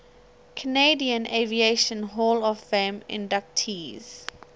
canadian aviation hall of fame inductees